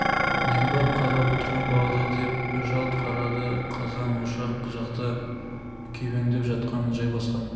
нең бар қарап отырған балада деп жалт қарады қазан-ошақ жақта күйбеңдеп жатқан жайбасқан